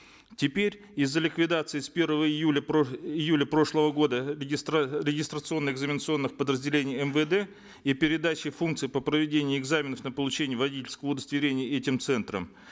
теперь из за ликвидации с первого июля э июля прошлого года регистрационно экзаменационных подразделений мвд и передаче функций по проведению экзаменов на получение водительского удостоверения этим центрам